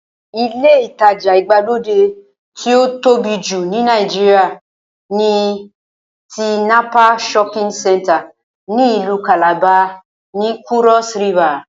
Ilé ìtajà ìgbàlódé tí ó tóbi jù ní Nàìjíríà ni Tinapa shopping center ní ìlú kàlàba, ní kúrọ́s rivà